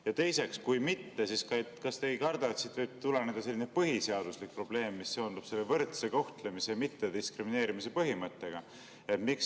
Ja teiseks, kui mitte, siis kas te ei karda, et siit võib tuleneda selline põhiseaduslik probleem, mis seondub võrdse kohtlemise ja mittediskrimineerimise põhimõttega?